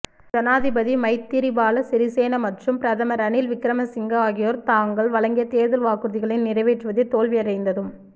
ஜனாதிபதி மைத்திரிபால சிறிசேன மற்றும் பிரதமர் ரணில் விக்கிரமசிங்க ஆகியோர் தாங்கள் வழங்கிய தேர்தல் வாக்குறுதிகளை நிறைவேற்றுவதில் தோல்வி அடைந்ததும்